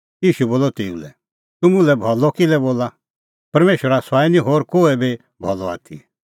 ईशू बोलअ तेऊ लै तूह मुल्है भलअ किल्है बोला परमेशरा सुआई निं होर कोहै बी भलअ आथी